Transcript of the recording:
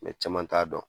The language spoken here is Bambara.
caman t'a dɔn